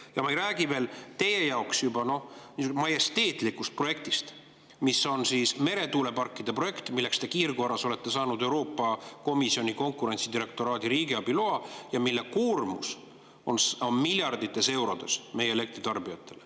Ja ma ei räägi teie jaoks niisugusest majesteetlikust projektist, mis on meretuuleparkide projekt, milleks te kiirkorras olete saanud Euroopa Komisjoni konkurentsidirektoraadi riigiabiloa ja mille koormus meie elektritarbijatele on miljardites eurodes.